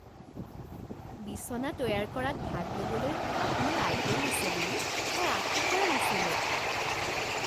বিছনা তৈয়াৰ কৰাত ভাগ ল'বলৈ আপোনাৰ আগ্ৰহ আছে বুলি মই আশা কৰা নাছিলোঁ।